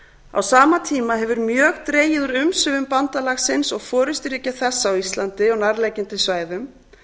á sama tíma hefur mjög dregið úr umsvifum bandalagsins og forusturíkja þess á íslandi og nærliggjandi svæðum